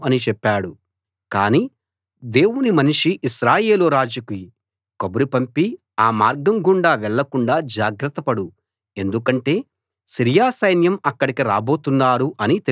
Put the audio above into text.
కానీ దేవుని మనిషి ఇశ్రాయేలు రాజుకి కబురు పంపి ఆ మార్గం గుండా వెళ్ళకుండా జాగ్రత్త పడు ఎందుకంటే సిరియా సైన్యం అక్కడకు రాబోతున్నారు అని తెలియజేశాడు